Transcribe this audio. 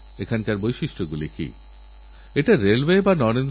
প্রযুক্তির মাধ্যমে চৌর্যবৃত্তির এ এক নতুন উপায়যা সারা বিশ্বে ছড়িয়ে পড়ছে